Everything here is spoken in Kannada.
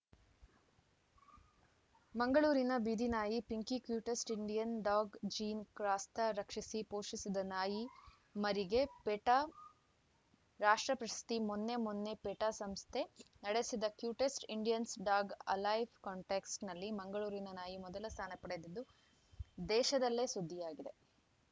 ಮಂಗಳೂರಿನ ಬೀದಿನಾಯಿ Pinky cutest Indian dog Jean Crasta ರಕ್ಷಿಸಿ ಪೋಷಿಸಿದ ನಾಯಿ ಮರಿಗೆ ಪೆಟಾ ರಾಷ್ಟ್ರ ಪ್ರಶಸ್ತಿ ಮೊನ್ನೆ ಮೊನ್ನೆ ಪೆಟಾ ಸಂಸ್ಥೆ ನಡೆಸಿದ ಕ್ಯೂಟೆಸ್ಟ್‌ ಇಂಡಿಯನ್‌ ಡಾಗ್‌ ಅಲೈವ್‌ ಕಂಟೆಸ್ಟ್‌ನಲ್ಲಿ ಮಂಗಳೂರಿನ ನಾಯಿ ಮೊದಲ ಸ್ಥಾನ ಪಡೆದು ದೇಶದಲ್ಲೇ ಸುದ್ದಿಯಾಗಿದೆ